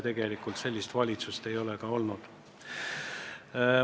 Tegelikult sellist valitsust ei ole enne olnud.